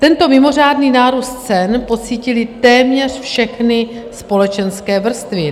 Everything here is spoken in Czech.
Tento mimořádný nárůst cen pocítily téměř všechny společenské vrstvy.